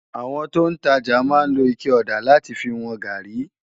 Awòn tó n tàjá má n ló iké òdá làtí fi wòn gàrí